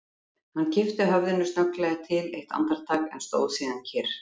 Hann kippti höfðinu snögglega til eitt andartak, en stóð síðan kyrr.